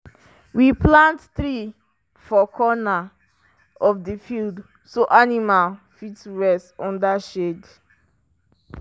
we plant tree for corner of the field so animal fit rest under shade.